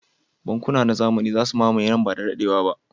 Bankuna na zamani za su mamaye nan ba da daɗewa ba.